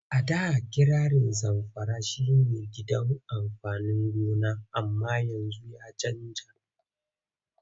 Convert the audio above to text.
A da kirarin Zamfara shi ne gidan amfanin gona amma yanzu ya canja.